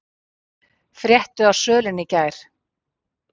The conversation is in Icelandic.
Fréttu af sölunni í gær